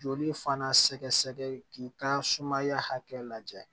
Joli fana sɛgɛsɛgɛ k'i ka sumaya hakɛ lajɛ